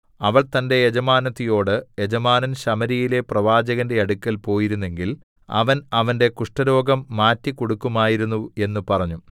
അവൾ തന്റെ യജമാനത്തിയോട് യജമാനൻ ശമര്യയിലെ പ്രവാചകന്റെ അടുക്കൽ പോയിരുന്നെങ്കിൽ അവൻ അവന്റെ കുഷ്ഠരോഗം മാറ്റിക്കൊടുക്കുമായിരുന്നു എന്ന് പറഞ്ഞു